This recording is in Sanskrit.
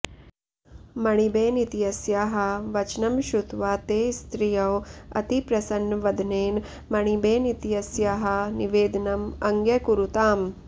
मणिबेन इत्यस्याः वचनं श्रुत्वा ते स्त्रियौ अतिप्रसन्नवदनेन मणिबेन इत्यस्याः निवेदनम् अङ्ग्यकुरुताम्